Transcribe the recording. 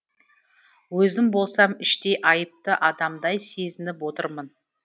өзім болсам іштей айыпты адамдай сезініп отырмын